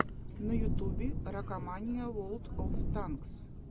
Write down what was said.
на ютубе ракомания ворлд оф танкс